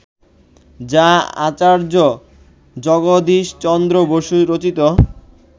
যা আচার্য জগদীশ চন্দ্র বসু রচিত